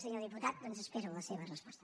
senyor diputat doncs espero la seva resposta